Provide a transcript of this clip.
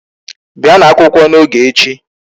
Bịanụ akwụkwọ n'oge echi.